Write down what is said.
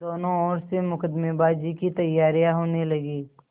दोनों ओर से मुकदमेबाजी की तैयारियॉँ होने लगीं